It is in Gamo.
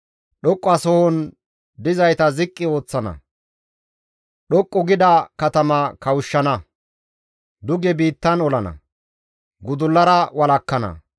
Dhoqqasohon dizayta ziqqi ooththana; dhoqqu gida katama kawushshana; duge biittan olana; gudullara walakkana.